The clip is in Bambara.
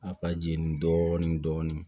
A ka jeni dɔɔnin